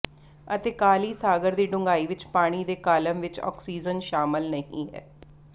ਅਤੇ ਕਾਲੀ ਸਾਗਰ ਦੀ ਡੂੰਘਾਈ ਵਿਚ ਪਾਣੀ ਦੇ ਕਾਲਮ ਵਿਚ ਆਕਸੀਜਨ ਸ਼ਾਮਲ ਨਹੀਂ ਹੈ